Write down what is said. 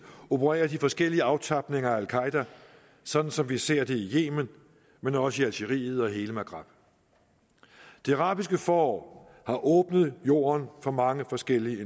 opererer de forskellige aftapninger af al qaeda sådan som vi ser det i yemen men også i algeriet og i hele maghreb det arabiske forår har åbnet jorden for mange forskellige